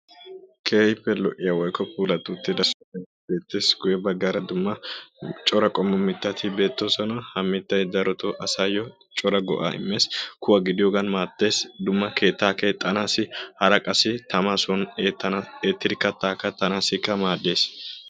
keehippe lo'iya Dungguza, Wolaytta woga maayuwaa maayyidi gasttanne yelagaa maccanne attuma asay issippe gidid ufayttidinne hombbochidi issippe de'iyoogee keehin lo''ees.